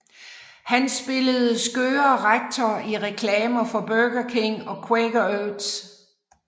Han spillede skøre rektor i reklamer for Burger King og Quaker Oats